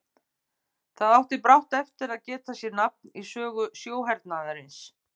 Það átti brátt eftir að geta sér nafn í sögu sjóhernaðarins.